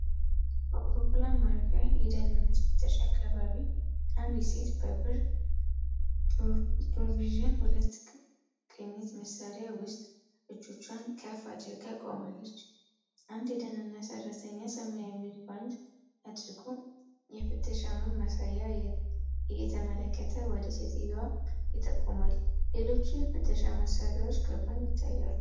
በአውሮፕላን ማረፊያ የደህንነት ፍተሻ አካባቢ አንዲት ሴት በብር ፕሮቪዥን 2 ቅኝት መሣሪያ ውስጥ እጆቿን ከፍ አድርጋ ቆማለች። አንድ የደህንነት ሰራተኛ ሰማያዊ ጓንት አድርጎ የፍተሻውን ማሳያ እየተመለከተ ወደ ሴትየዋ ይጠቁማል። ሌሎች የፍተሻ መሣሪያዎች ከጎን ይታያሉ።